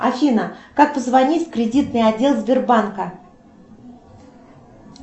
афина как позвонить в кредитный отдел сбербанка